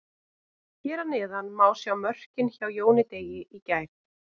Hér að neðan má sjá mörkin hjá Jóni Degi í gær.